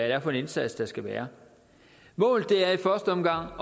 er for en indsats der skal være målet er i første omgang